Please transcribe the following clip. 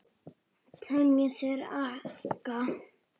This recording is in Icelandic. Temja sér aga.